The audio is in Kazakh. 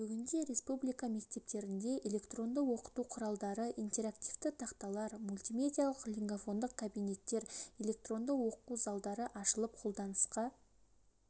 бүгінде республика мектептерінде электронды оқыту құралдары интерактивті тақталар мультмедиалық лингофондық кабинеттер электронды оқу залдары ашылып қолданысқа